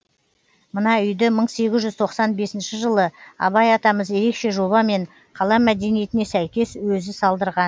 мына үйді мың сегіз жүз тоқсан бесінші жылы абай атамыз ерекше жобамен қала мәдениетіне сәйкес өзі салдырған